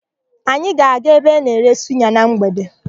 Anyị ga-aga ebe a na-ere suya na mgbede.